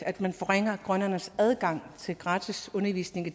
at man forringer grønlændernes adgang til gratis undervisning i